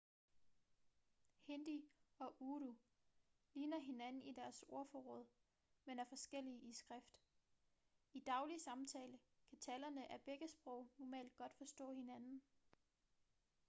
hindi og urdu ligner hinanden i deres ordforråd men er forskellige i skrift i daglig samtale kan talere af begge sprog normalt godt forstå hinanden